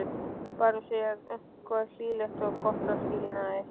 Bara segja eitthvað hlýlegt og gott að skilnaði.